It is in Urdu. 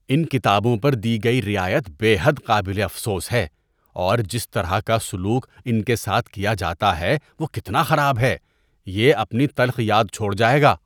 ان کتابوں پر دی گئی رعایت بے حد قابل افسوس ہے اور جس طرح کا سلوک ان کے ساتھ کیا جاتا ہے وہ کتنا خراب ہے۔ یہ اپنی تلخ یاد چھوڑ جائے گا۔